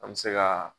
An bɛ se ka